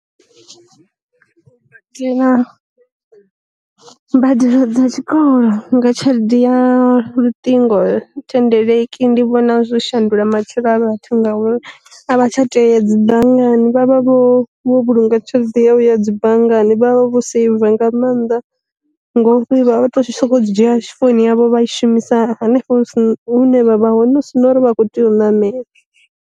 U tea na, mbadelo dza tshikolo nga tshelede ya luṱingo thendeleki ndi vhona zwi shandula matshilo a vhathu ngauri a vha tsha tea dzi ḓa banngani vhavha vho vho vhulunga tshelede ya vhuya dzi banngani vha vha vho seiva nga maanḓa. ngori vha vha vha tshi sokou dzi dzhia founu yavho vha i shumisa henefho hune vha vha hone hu si na uri vha kho tea u namela.